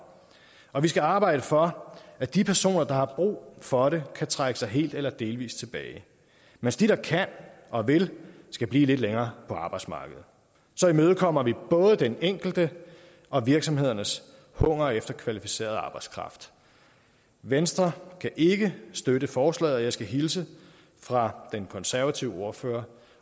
og vi skal arbejde for at de personer der har brug for det kan trække sig helt eller delvist tilbage mens de der kan og vil skal blive lidt længere på arbejdsmarkedet så imødekommer vi både den enkelte og virksomhedernes hunger efter kvalificeret arbejdskraft venstre kan ikke støtte forslaget og jeg skal hilse fra den konservative ordfører